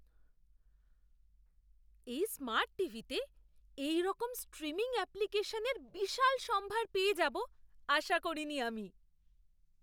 এই স্মার্ট টিভিতে এইরকম স্ট্রিমিং অ্যাপ্লিকেশনের বিশাল সম্ভার পেয়ে যাব আশা করিনি আমি!